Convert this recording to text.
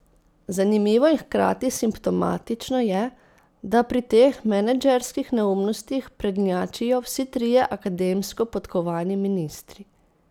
Zanimivo in hkrati simptomatično je, da pri teh menedžerskih neumnostih prednjačijo vsi trije akademsko podkovani ministri.